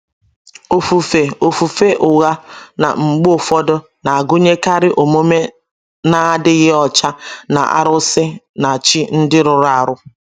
Ofufe Ofufe ụgha na -mgbe ụfodụ na agụnyekarị omume na - adịghị ọcha na arụsị na chi ndị rụrụ arụ.